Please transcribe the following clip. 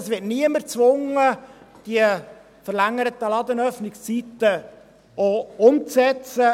es wird also niemand gezwungen, die verlängerten Ladenöffnungszeiten auch umzusetzen.